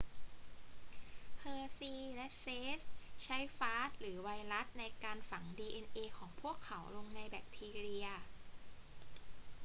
เฮอร์ชีย์และเชสใช้ฟาจหรือไวรัสในการฝังดีเอ็นเอของพวกเขาลงในแบคทีเรีย